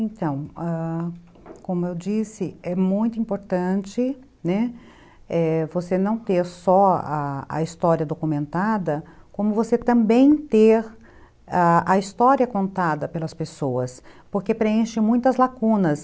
Então, ãh... como eu disse, é muito importante, né, você não ter só a história documentada, como você também ter a história contada pelas pessoas, porque preenche muitas lacunas.